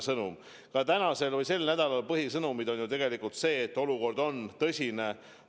Samas on täna või sel nädalal põhisõnum tegelikult see, et olukord on tõsine.